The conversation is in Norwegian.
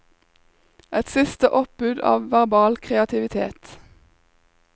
Et siste oppbud av verbal kreativitet.